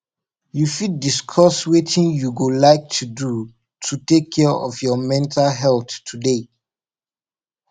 you fit discuss wetin you go like to do to take care of your mental health today